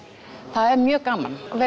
það er mjög gaman það